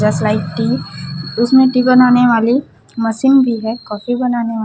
just like tea उसमें tea बनाने वालीं मशीन भी है कॉफी बनाने--